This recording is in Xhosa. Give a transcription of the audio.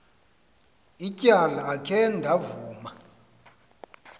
ityala akhe ndavuma